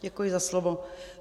Děkuji za slovo.